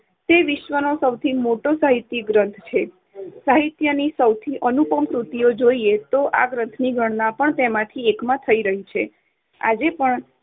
તે વિશ્વનો સૌથી મોટો સાહિત્યિક ગ્રંથ છે. સાહિત્યની સૌથી અનુપમ કૃતિઓ જોઈએ તો આ ગ્રંથની ગણના પણ તેમાંથી એક માં થઇ રહી છે. આજે પણ